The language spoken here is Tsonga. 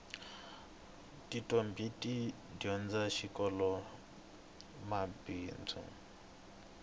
titombhi ti dyondza xikoloxa mabindzu